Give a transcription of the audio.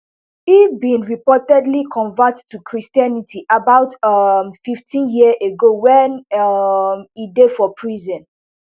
e bin reportedly convert to christianity about um fifteen years ago wen um e dey for prison